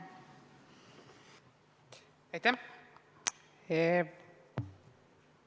Aitäh!